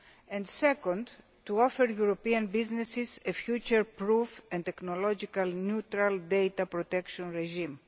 and second, to offer European businesses a future proof and technologically neutral data protection regime.